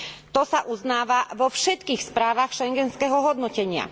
To sa uznáva vo všetkých správach schengenského hodnotenia.